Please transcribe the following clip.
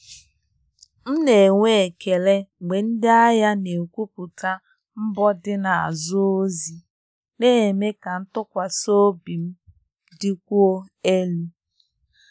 M na-enwe ekele mgbe ndị ahịa na-ekwupụta mbọ dị n’azụ ozi, na-eme ka ntụkwasị obi m dịkwuo elu.